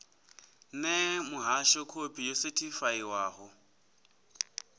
ṋee muhasho khophi yo sethifaiwaho